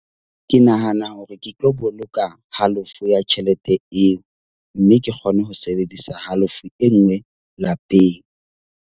Ke nahana hore ke tlo boloka halofo ya tjhelete eo, mme ke kgone ho sebedisa halofo e nngwe lapeng.